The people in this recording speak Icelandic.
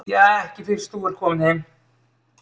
Ja, ekki fyrst þú ert kominn heim.